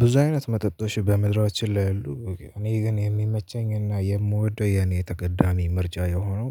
ብዙ አይነት መጠጦሽ በምድራችን ላይ ያሉ እኔ ግን የሚመቸኝና የምወደው የኔ ተቀዳሚ ምርጫ የሆነው